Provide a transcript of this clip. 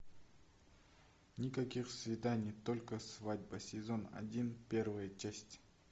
никаких свиданий только свадьба сезон один первая часть